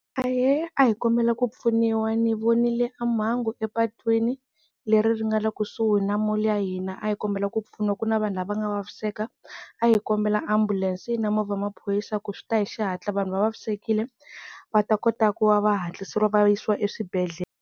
Aheea hi kombela ku pfuniwa ni vonile mhangu epatwini leri ri nga le kusuhi na mall ya hina, a hi kombela ku pfuniwa ku na vanhu lava nga vaviseka, a hi kombela ambulense na movha ya maphorisa ku swi ta hi xihatla vanhu va vavisekile va ta kota ku va hatliseriwa va yisiwa eswibedhlele.